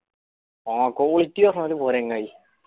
ആ quality പോര് ചങ്ങായി